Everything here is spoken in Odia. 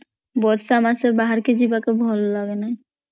ବର୍ଷା ମାସ ବାହାରକୁ ଯିବାକୁ ଭଲ ଲଗେନାହିଁ